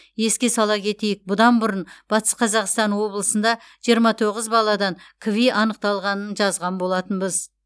еске сала кетейік бұдан бұрын батыс қазақстан облысында жиырма тоғыз баладан кви анықталғанын жазған болатынбыз